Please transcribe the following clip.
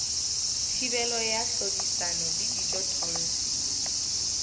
thibelo ya tlhodisano le dijothollo